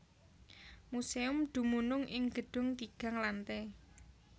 Museum dumunung ing gedung tigang lante